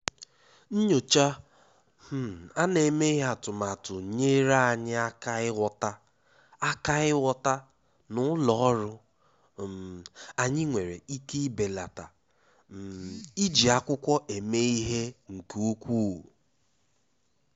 Nyòchá um à nà-èméghị́ atụ́matụ nyèèrè anyị́ áká ị́ghọ́tà áká ị́ghọ́tà na ụ́lọ́ ọ́rụ́ um anyị́ nwere ike ibèlàtá um iji ákwụ́kwọ́ èmé ìhè nke ukwuu.